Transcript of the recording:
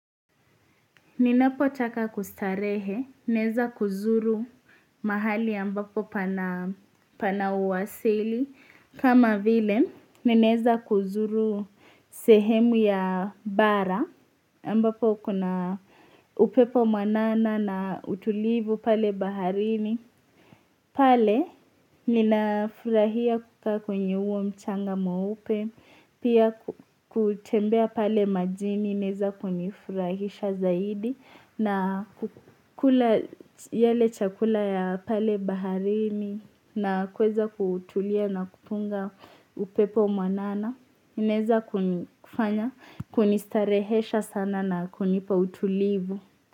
Ninapotaka kustarehe, nezakuzuru mahali ambapo pana uwasili, kama vile neneza kuzuru sehemu ya bara ambapo kuna upepo mwanana na utulivu pale baharini. Pale, ninafurahia kukaa kwenye uo mchanga mweupe, pia kutembea pale majini, ineza kunifurahisha zaidi, na kukula yale chakula ya pale baharini, na kuweza kutulia na kutunga upepo mwanana, ineza kunistarehesha sana na kunipa utulivu.